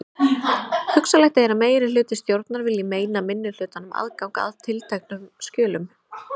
Hugsanlegt er að meirihluti stjórnar vilji meina minnihlutanum aðgang að tilteknum skjölum.